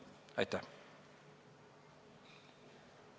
Aitäh!